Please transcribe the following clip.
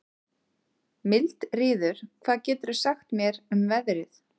Mildríður, hvað geturðu sagt mér um veðrið?